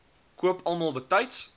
koop almal betyds